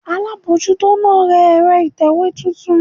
Alámójútó náà ra ẹ̀rọ ìtẹ̀wé titun